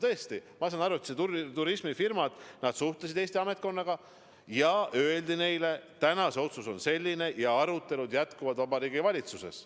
Tõesti, ma saan aru, et turismifirmad suhtlesid Eesti ametkonnaga ja neile öeldi, et täna on see otsus selline ja arutelud jätkuvad Vabariigi Valitsuses.